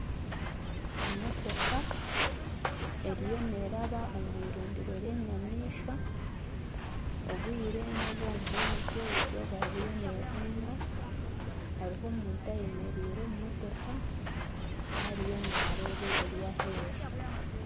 Emotooka eriyo neraba omwirindiro ry'enyamaishwa obwire nobw'omumwazyo eizooba ririyo nirireega hariho omuntu ayemereire omu motooka ariyo nareeba ebiri aheeru.